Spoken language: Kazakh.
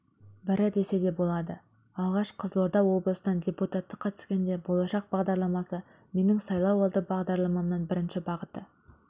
бірі десе болады алғаш қызылорда облысынан депутаттыққа түскенде болашақ бағдарламасы менің сайлауалды бағдарламамның бірінші бағыты